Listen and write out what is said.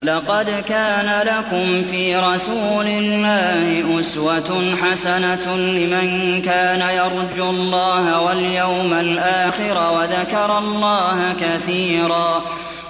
لَّقَدْ كَانَ لَكُمْ فِي رَسُولِ اللَّهِ أُسْوَةٌ حَسَنَةٌ لِّمَن كَانَ يَرْجُو اللَّهَ وَالْيَوْمَ الْآخِرَ وَذَكَرَ اللَّهَ كَثِيرًا